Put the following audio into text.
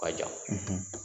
K'a ja.